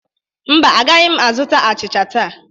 Mba, agaghị m azụta achịcha taa.